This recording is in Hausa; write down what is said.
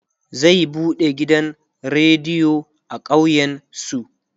zai buɗe gidan rediyo a ƙauyen su